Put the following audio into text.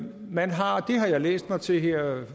man har det har jeg læst mig til her